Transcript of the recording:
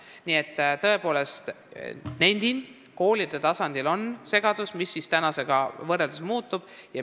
Nii et ma tõepoolest nendin, et koolide tasandil on segadus, sest ei teata, mis praegusega võrreldes muutub.